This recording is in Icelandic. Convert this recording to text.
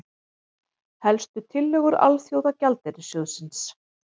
Helstu tillögur Alþjóðagjaldeyrissjóðsins